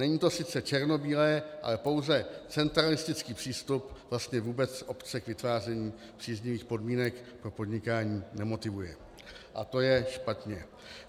Není to sice černobílé, ale pouze centralistický přístup vlastně vůbec obce k vytváření příznivých podmínek pro podnikání nemotivuje a to je špatně.